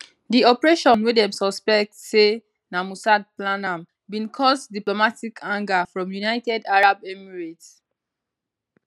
di operation wey dem suspect say na mossad plan am bin cause diplomatic anger from united arab emirates